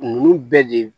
Ninnu bɛɛ de